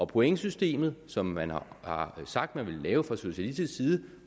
pointsystem som man har har sagt man ville lave fra socialistisk side